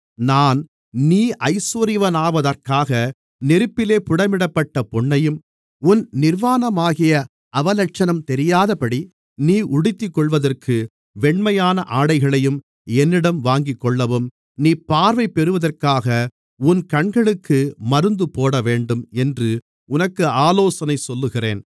நான் நீ ஐசுவரியவானாவதற்காக நெருப்பிலே புடமிடப்பட்ட பொன்னையும் உன் நிர்வாணமாகிய அவலட்சணம் தெரியாதபடி நீ உடுத்திக்கொள்வதற்கு வெண்மையான ஆடைகளையும் என்னிடம் வாங்கிக்கொள்ளவும் நீ பார்வை பெறுவதற்காக உன் கண்களுக்கு மருந்து போடவேண்டும் என்று உனக்கு ஆலோசனை சொல்லுகிறேன்